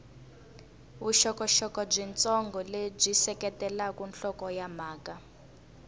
vuxokoxoko byitsongo lebyi seketela nhlokomhaka